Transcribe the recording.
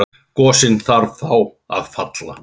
Gosinn þarf þá að falla.